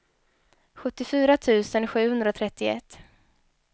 sjuttiofyra tusen sjuhundratrettioett